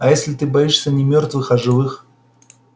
а если ты боишься не мёртвых а живых